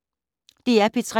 DR P3